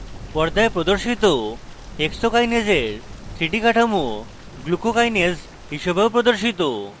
পর্দায় প্রদর্শিত hexokinase এর 3d কাঠামো glucokinase হিসাবেও পরিচিত